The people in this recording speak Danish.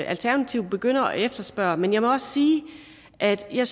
alternativet begynder at efterspørge men jeg må også sige at jeg